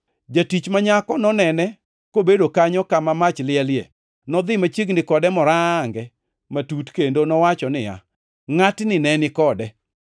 Jatich ma nyako nonene kobedo kanyo kama mach lielie. Nodhi machiegni kode morange matut kendo nowacho niya, “Ngʼatni ne ni kode.”